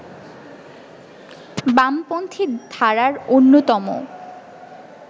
বামপন্থী ধারার অন্যতম